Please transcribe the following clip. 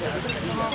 Nə deyirsən?